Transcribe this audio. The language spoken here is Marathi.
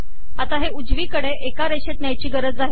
आता हे उजवीकडे एका रेषेत न्यायची गरज आहे